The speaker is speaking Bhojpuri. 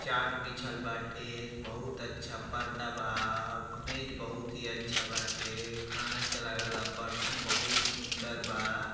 चार्ट बिछाल बाटे बहुत अच्छा पर्दा बा मेज बहुत ही अच्छा बाटे खाना चलए वाला बर्तन बहुत सुंदर बा।